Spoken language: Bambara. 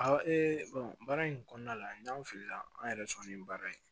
baara in kɔnɔna la n y'an fili la an yɛrɛ sɔnnen baara in na